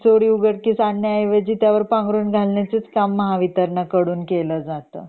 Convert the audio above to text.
चोरी उघडकीस आणण्या ऐवजी त्यावर पांघरून घळायचेच काम महावितरण कडून केलं जातं